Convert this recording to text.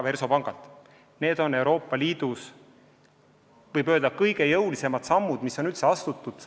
Võib öelda, et need on Euroopa Liidus kõige jõulisemad sammud, mis on üldse astutud.